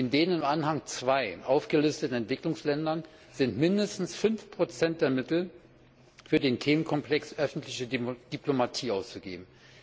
In den in Anhang II aufgelisteten Entwicklungsländern sind mindestens 5 der Mittel für den Themenkomplex öffentliche Diplomatie auszugeben.